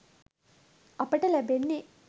අපට ලැබෙන්නෙ.